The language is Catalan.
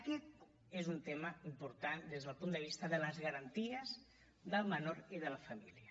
aquest és un tema important des del punt de vista de les garanties del menor i de la família